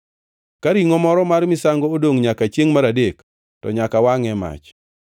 Ka ringʼo moro mar misango odongʼ nyaka chiengʼ mar adek, to nyaka wangʼe e mach.